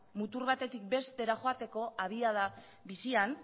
mutur batetik bestera joateko abiada bizian